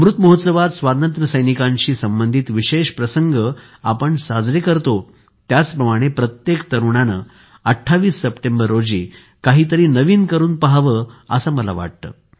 अमृत महोत्सवात स्वातंत्र्यसैनिकांशी संबंधित विशेष प्रसंग आपण साजरे करतो त्याचप्रमाणे प्रत्येक तरुणाने २८ सप्टेंबर रोजी काहीतरी नवीन करून पाहावे असे मला वाटते